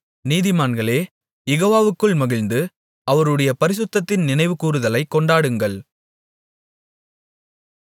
நீதிமான்களே யெகோவாவுக்குள் மகிழ்ந்து அவருடைய பரிசுத்தத்தின் நினைவுகூருதலைக் கொண்டாடுங்கள்